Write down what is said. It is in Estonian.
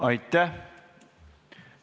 Aitäh!